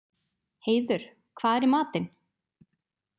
Heiður, hvað er í matinn?